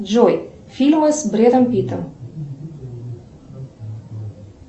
джой фильмы с брэдом питтом